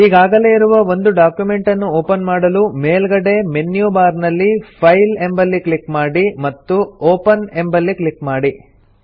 ಈಗಾಗಲೇ ಇರುವ ಒಂದು ಡಾಕ್ಯುಮೆಂಟನ್ನು ಒಪನ್ ಮಾಡಲು ಮೇಲ್ಗಡೆ ಮೆನ್ಯು ಬಾರ್ ನಲ್ಲಿ ಫೈಲ್ ಎಂಬಲ್ಲಿ ಕ್ಲಿಕ್ ಮಾಡಿ ಮತ್ತು ಒಪೆನ್ ಎಂಬಲ್ಲಿ ಕ್ಲಿಕ್ ಮಾಡಿ